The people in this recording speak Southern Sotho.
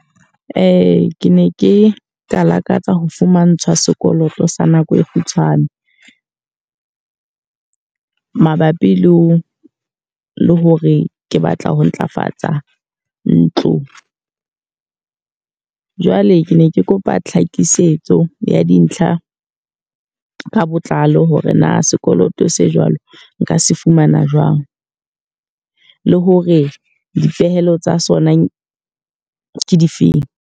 ke ne ke ka lakatsa ho fumahantshwa sekoloto sa nako e kgutshwane. mabapi le ho le hore ke batla ho ntlafatsa ntlo. Jwale ke ne ke kopa tlhakisetso ya dintlha ka botlalo hore na sekoloto se jwalo nka se fumana jwang? Le hore dipehelo tsa sona ke difeng?